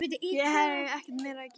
Hér hef ég ekkert meira að gera.